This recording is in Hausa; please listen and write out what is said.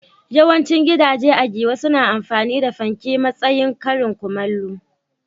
Yawancin gidaje a Giwa suna amfani da fanke a matsayin karin kumallo.